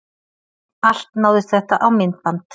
Allt náðist þetta á myndband